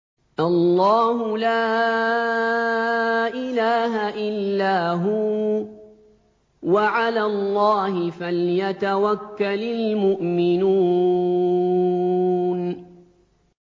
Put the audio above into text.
اللَّهُ لَا إِلَٰهَ إِلَّا هُوَ ۚ وَعَلَى اللَّهِ فَلْيَتَوَكَّلِ الْمُؤْمِنُونَ